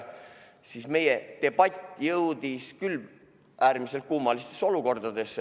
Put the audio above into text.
Aga meie debatt jõudis küll äärmiselt kummaliste olukordadeni.